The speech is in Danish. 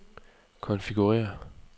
konfigurér